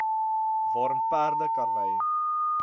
waarin perde karwy